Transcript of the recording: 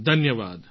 ધન્યવાદ